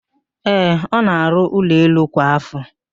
Ee, ọ na-àrụ́ ụlọelu kwa ạfọ.